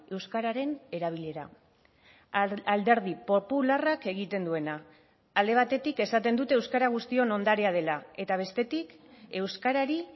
euskararen erabilera alderdi popularrak egiten duena alde batetik esaten dute euskara guztion ondarea dela eta bestetik euskarari